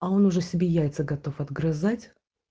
а он уже себе яйца готов отгрызать